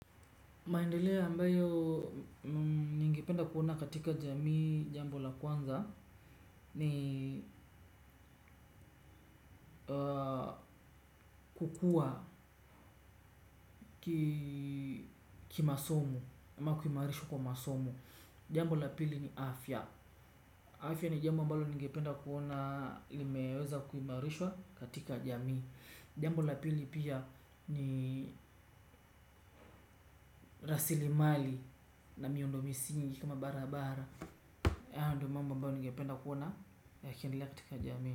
Maendeleo ambayo ningependa kuona katika jamii, jambo la kwanza, ni kukuwa ki masomo, ama kuimarishwa kwa masomo. Jambo la pili ni afya afya ni jambo ambalo ningependa kuona limeweza kuimarishwa katika jamii. Jambo la pili pia ni rasilimali na miundo misingi kama barabara hayo ndio mambo ningependa kuona yakiendelea katika jamii.